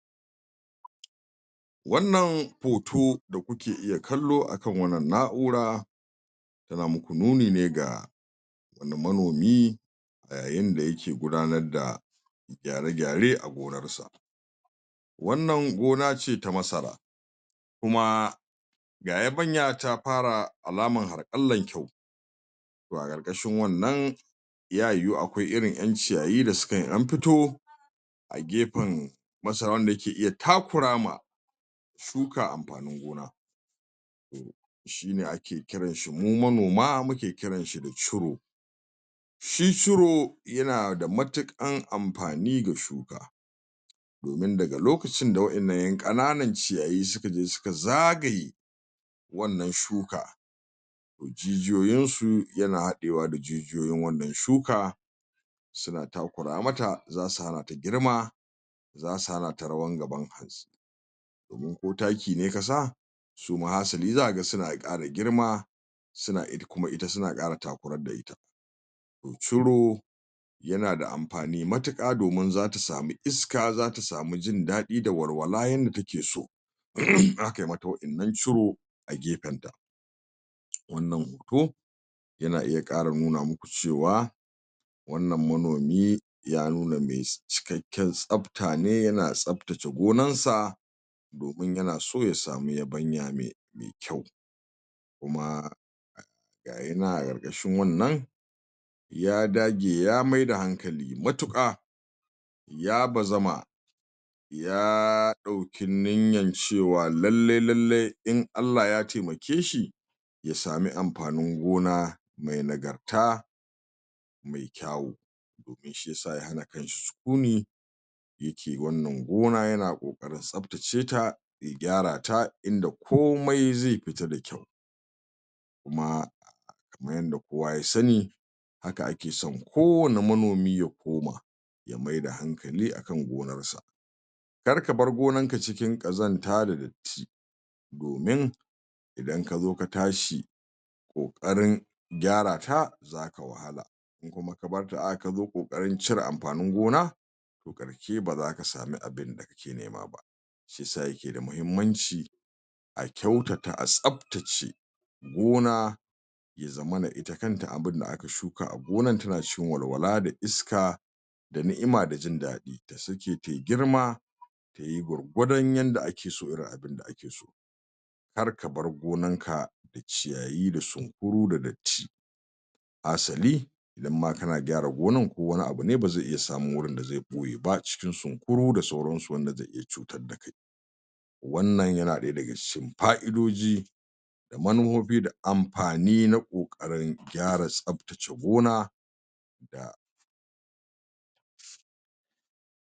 wannan hoto da kuke iya kallo akan wannan na'ura yana muku nuni ne ga inda manomi a yayin da yake yayin da yake gudanar da gyare-gyare a gonarsa wannan gona ce ta masara kuma ga yabanya ta fara alamar harƙallan kyau to a ƙaƙashin wannan yayu akwai irin ƴan ciyayi da sukan ɗan fito a gefen masaran da ke iya takura ma shukan amfanin gona shine ake kiranshi mu manoma muke kiranshi da curo shi curo yana da matuƙan amfani da shuka domin daga lokacin da wa'innan ƴan ƙananan ciyayi suka je suka zagaye wannan shuka to jijiyoyinsu hana haɗewa da jijiyoyin wannan shuka suna takura mata za su hanata girma zasu hanata rawan gaban kanta domin ko taki ne ka sa suma hasali za ka ga suna ƙara girma suna kuma suna ƙara takurar da ita curo yana da amfani matuƙa domin zata samu iska zata samu jin daɗi da walwala yanda take so in akayi mata wa'innan curo a gefenta wannan hoto yana iya ƙara nuna muku cewa wannan manomi ya nuna mai cikakken tsafta ne yana tsaftace gonansa domin yan so ya samu yabanya mai kyau kuma ga yana ƙarƙashin wannan ya dage ya maida hankali matuƙa ya bazama ya ɗauki niyyan cewa lallai lallai in Allah Ya taimakeshi ya samu amfanin gona mai nagarta mai kyawu ya hana kanshi sukuni yake wannan gona yana ƙoƙarin tsaftaceta ya gyrata inda komai zai fita da kyau kuma kaman yanda kowa ya sani haka ake son kowani manomi ya koma ya maida hankali akan gonarsa kar ka bar gonarka cikin ƙazanta da datti domin idan ka zo ka tsahi ƙoƙarin gyarata zaka wahala in kuma ka barta a haka ka zo ƙoƙarin cire amfanin gona ƙarke ba zak samu abinda kake nema ba shiyasa yake da matuƙar mahimmanci a kyautata a tsaftace gona ya zama ita kanta abinda aka shuka a gonan tana cikin walwala da iska da ni'ima da jin daɗi ta sake ta yi girma ta yi gwargwadon yanda ake so irin abinda ake so kar ka bar gonarka da ciyayi da sunkuru da datti hasali idanma kana gyara gonar ko wani abu ne ba zai samu wurin da zai ɓoye ba a cikin sunkuru da sauransu anda zai iya cutar da kai wannan yana ɗaya daga cikin fa'idoji da manufofi da amfani na ƙoƙarin gyra tsaftace gona da